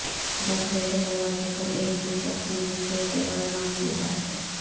داخلے کے دروازے پر ایک بھی شخص نہیں جو کہ غیر معمولی بات ہے